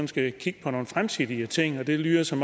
skal kigge på nogle fremtidige ting og det lyder som